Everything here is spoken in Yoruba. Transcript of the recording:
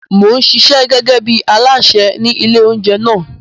Mò ń ṣiṣẹ́ gẹ́gẹ́ bí alásè ní ilé-oúnjẹ náà.